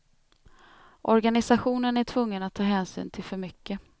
Organisationen är tvungen att ta hänsyn till för mycket.